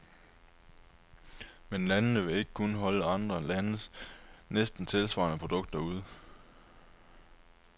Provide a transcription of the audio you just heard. Men landene vil ikke kunne holde andre landes næsten tilsvarende produkter ude.